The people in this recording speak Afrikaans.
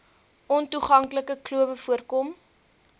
ontoeganklike klowe voorkom